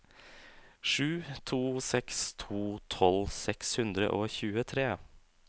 sju to seks to tolv seks hundre og tjuetre